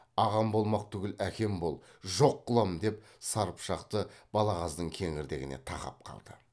ағам болмақ түгіл әкем бол жоқ қыламын деп сар пышақты балағаздың кеңірдегіне тақап қалды